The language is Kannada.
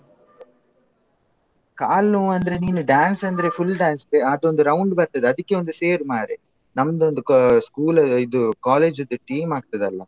ಕಾಲ್ ನೋವೆಂದ್ರೆ ನೀನು dance ಅಂದ್ರೆ full dance ಅದೊಂದು around ಬರ್ತದೆ ಅದಿಕ್ಕೆ ಒಂದು ಸೇರು ಮಾರೆ. ನಾಮ್ದೊಂದ್ school ಇದು college ದು team ಆಗ್ತದಲ್ಲ.